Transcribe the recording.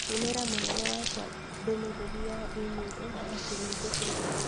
Tũmĩra mũnene wakwa ndũmĩrĩri ya i-mīrū atĩ nĩngũcererũo.